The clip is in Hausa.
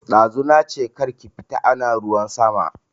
Dazu nache kar ki fita ana ruwan sama